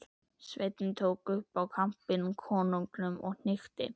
Sveinninn tók upp í kampinn konunginum og hnykkti.